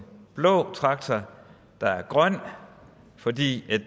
blå traktor der er grøn fordi